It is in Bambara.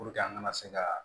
Puruke an kana se ka